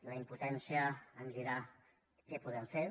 la impotència ens dirà què podem fer